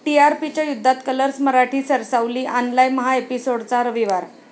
टीआरपीच्या युद्धात कलर्स मराठी सरसावली, आणलाय महाएपिसोड्सचा रविवार